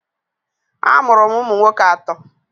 A mụrụ m ụmụ nwoke atọ.